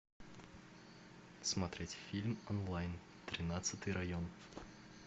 смотреть фильм онлайн тринадцатый район